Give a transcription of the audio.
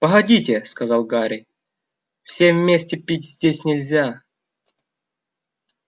погодите сказал гарри всем вместе пить здесь нельзя